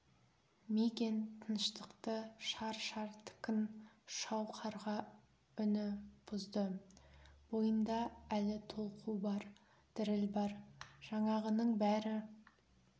мигэн тыныштықты шар-шар ткн шау қарға үні бұзды бойында әлі толқу бар діріл бар жаңағының бәрі